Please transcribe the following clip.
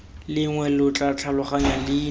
lengwe lo tla tlhaloganya leina